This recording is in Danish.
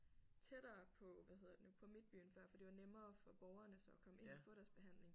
Tættere på hvad hedder det nu på midtbyen før for det var nemmere for borgerne så at komme ind og få deres behandling